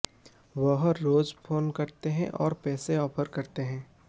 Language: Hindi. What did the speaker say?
वह रोज फोन करते हैं और पैसे ऑफर करते हैं